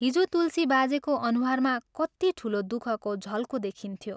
हिजो तुलसी बाजेको अनुहारमा कति ठूलो दुःखको झलको देखिन्थ्यो।